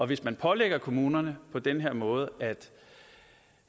hvis man pålægger kommunerne på den her måde